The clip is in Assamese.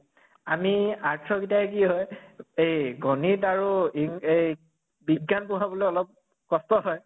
আমি arts ৰ গিটাই কি হয় এই গণিত আৰু ইং এই বিজ্ঞান পঢ়াবলৈ অলপ কষ্ট হয়